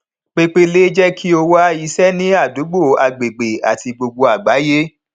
pepele jé kí o wá iṣẹ ní àdúgbò agbègbè àti gbogbo agbáyé